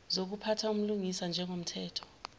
zokuphatha ubulungisa njengomthetho